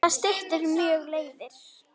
Það styttir mjög leiðir.